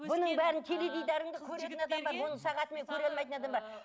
бұның бәрін теледидарыңды көретін адам бар мұны сағатымен көре алмайтын адам бар